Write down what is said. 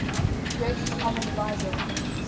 greatest common divisor